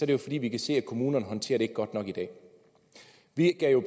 det jo fordi vi kan se at kommunerne ikke håndterer det godt nok i dag vi gav